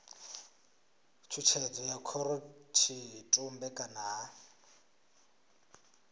tshutshedzo ya khorotshitumbe kana ha